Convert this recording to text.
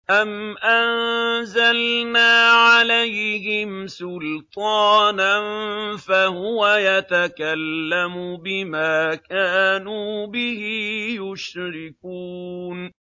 أَمْ أَنزَلْنَا عَلَيْهِمْ سُلْطَانًا فَهُوَ يَتَكَلَّمُ بِمَا كَانُوا بِهِ يُشْرِكُونَ